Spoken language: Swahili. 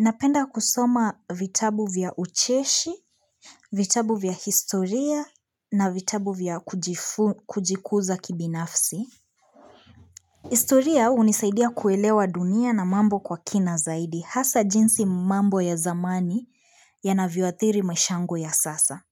Napenda kusoma vitabu vya ucheshi, vitabu vya historia na vitabu vya kujikuza kibinafsi. Historia hunisaidia kuelewa dunia na mambo kwa kina zaidi, hasa jinsi mambo ya zamani yanavioathiri maisha yangu ya sasa.